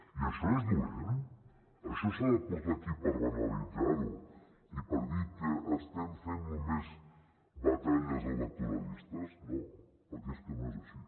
i això és dolent això s’ha de portar aquí per banalitzar ho i per dir que estem fent només batalles electoralistes no perquè és que no és així